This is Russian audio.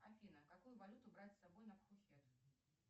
афина какую валюту брать с собой на пхукет